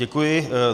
Děkuji.